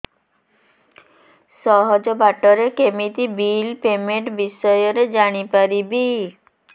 ସହଜ ବାଟ ରେ କେମିତି ବିଲ୍ ପେମେଣ୍ଟ ବିଷୟ ରେ ଜାଣି ପାରିବି